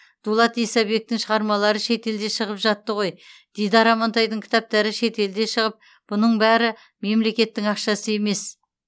дулат исабектің шығармалары шетелде шығып жатты ғой дидар амантайдың кітаптары шетелде шығып бұның бәрі мемлекеттің ақшасы емес